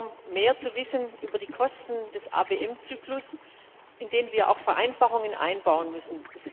Wir bitten darum, mehr zu erfahren über die Kosten des ABM Zyklus, in den wir auch Vereinfachungen einbauen müssen.